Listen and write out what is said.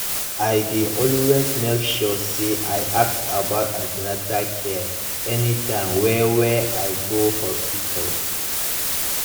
i dey always make sure say i ask about an ten atal care anytime wey wey i go hospital